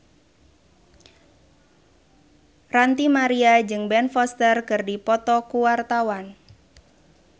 Ranty Maria jeung Ben Foster keur dipoto ku wartawan